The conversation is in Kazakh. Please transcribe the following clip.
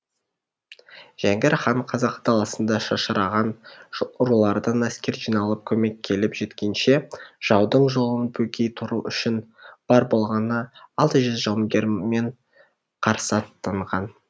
жәңгір хан қазақ даласында шашыраған рулардан әскер жиналып көмек келіп жеткенше жаудың жолын бөгей тұру үшін бар болғаны алты жүз жауынгерімен қарсы аттанған